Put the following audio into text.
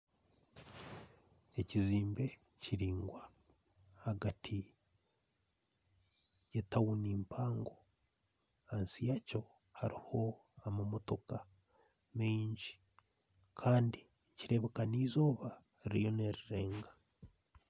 Ekizimbe kiringwa ahagati ye tawuni mpango ahansi yakyo hariho amamotooka mingi Kandi nikireebeka neizooba ririyo nirirenga.